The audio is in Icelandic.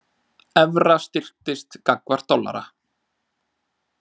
Evra styrktist gagnvart dollara